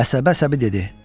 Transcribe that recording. Əsəbə-əsəbi dedi: